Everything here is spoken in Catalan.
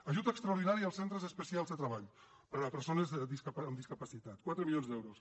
ajut extraordinari als centres especials de treball per a persones amb discapacitat quatre milions d’euros